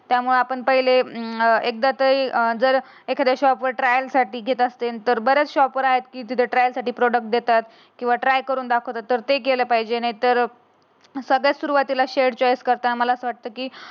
त्यामुळे आपण पहिले अं एकदा तरी अं जर एखाद्या शॉप वर ट्रायल साठी घेत असते. बऱ्याच शॉप वरती तर ट्रायल साठी प्रॉडक्ट देतात. किंवा ट्राय करून दाखवतात. ते केलं पाहिजे एक तर सगळ्यात सुरुवातीला शेड चॉईस करतांना. मला वाटते की,